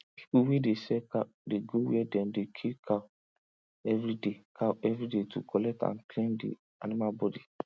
pipu wey dey sell cow dey go where dem dey kill cow everyday cow everyday to collect and clean di animal bodi